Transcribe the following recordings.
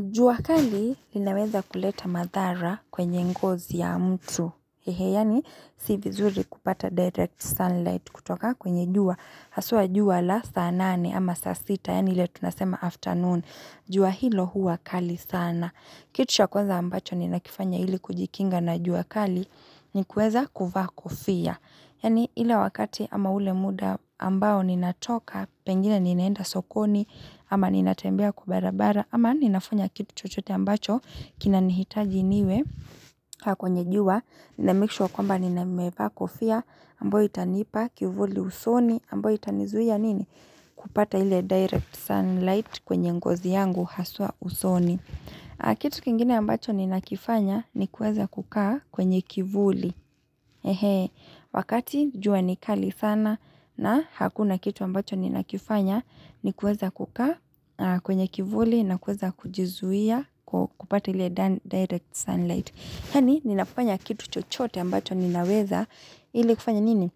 Jua kali linaweza kuleta madhara kwenye ngozi ya mtu. Hehe, yaani si vizuri kupata direct sunlight kutoka kwenye jua. Haswa jua la saa nane ama saa sita, yaani ile tunasema afternoon. Jua hilo huwa kali sana. Kitu cha kwaza ambacho ninakifanya ili kujikinga na jua kali, ni kueza kuvaa kofia. Yaani ile wakati ama ule muda ambao ninatoka, pengine ninaenda sokoni, ama ninatembea kwa barabara, ama ninafanya kitu chochote ambacho kinanihitaji niwe kukaa kwenye jua na make sure kwamba nimevaa kofia ambayo itanipa kivuli usoni ambayo itanizuia nini kupata ile direct sunlight kwenye ngozi yangu haswa usoni. Kitu kingine ambacho ninakifanya ni kueza kukaa kwenye kivuli Wakati jua ni kali sana na hakuna kitu ambacho ninakifanya nikueza kukaa kwenye kivuli na kueza kujizuia kupata ile direct sunlight yaani ninafanya kitu chochote ambacho ninaweza ili kufanya nini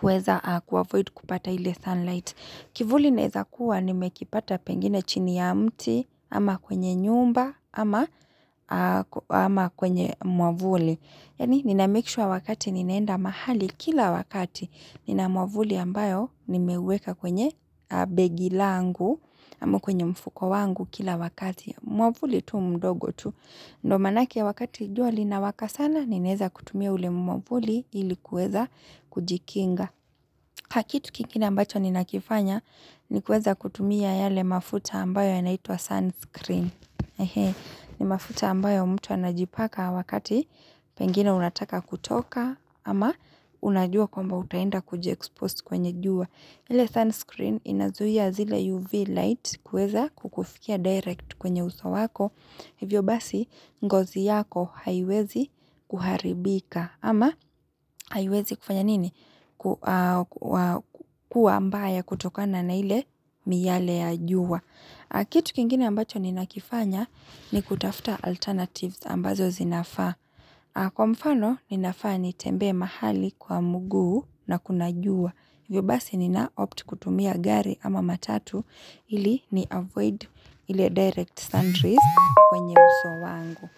kueza kuavoid kupata ili sunlight kivuli naweza kuwa nimekipata pengine chini ya mti ama kwenye nyumba ama kwenye mwavuli. Yaani nina make sure wakati ninaenda mahali kila wakati nina mwavuli ambayo nimeweka kwenye begi langu ama kwenye mfuko wangu kila wakati. Mwavuli tu mdogo tu. Ndo maanake wakati jua linawaka sana ninaeza kutumia ule mwavuli ili kuweza kujikinga. Kitu kingine ambacho ninakifanya ni kuweza kutumia yale mafuta ambayo yanaitwa sunscreen. Ni mafuta ambayo mtu anajipaka wakati pengine unataka kutoka ama unajua kwamba utaenda kujiexpose kwenye jua. Ile sunscreen inazuia zile UV light kuweza kukufikia direct kwenye uso wako. Hivyo basi ngozi yako haiwezi kuharibika ama haiwezi kufanya nini? Kua mbaya kutokana na ile miale ya jua. Kitu kingine ambacho ninakifanya ni kutafuta alternatives ambazo zinafaa. Kwa mfano, ninafaa nitembe mahali kwa mguu nakuna jua. Hivyo basi ninaopt kutumia gari ama matatu ili ni avoid ile direct sunrays kwenye uso wangu.